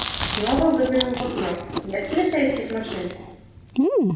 снова выглянул в окно нет полицейских машин